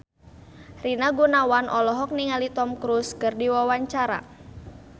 Rina Gunawan olohok ningali Tom Cruise keur diwawancara